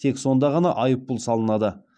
тек сонда ғана айыппұл салынады